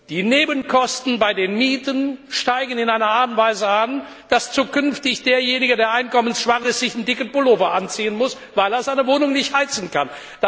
Die Nebenkosten bei den Mieten steigen in einer Art und Weise an, dass zukünftig derjenige, der einkommensschwach ist, sich einen dicken Pullover anziehen muss, weil er seine Wohnung nicht heizen kann.